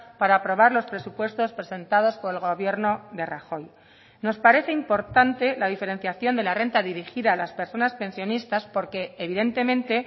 para aprobar los presupuestos presentados por el gobierno de rajoy nos parece importante la diferenciación de la renta dirigida a las personas pensionistas porque evidentemente